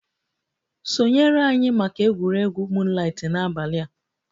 Sonyere anyị maka egwuregwu moonlight n'abalị a!